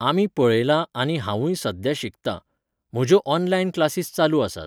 आमी पळयलां आनी हांवूंय सध्या शिकतां. म्हज्यो ऑनलायन क्लासीस चालू आसात.